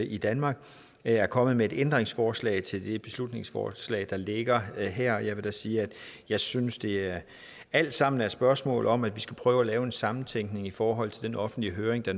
i danmark er kommet med et ændringsforslag til det beslutningsforslag der ligger her og jeg vil da sige at jeg synes det alt sammen er et spørgsmål om at vi skal prøve at lave en sammentænkning i forhold til den offentlige høring der